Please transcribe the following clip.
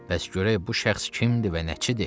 Bəs görək bu şəxs kimdir və nəçidir?